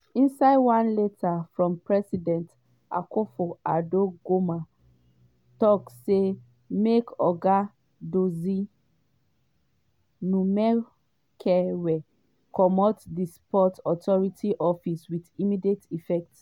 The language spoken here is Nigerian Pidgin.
inside one letter from president akufo-addo goment tok say make oga dodzie numekevor comot di sports authority office “wit immediate effect.”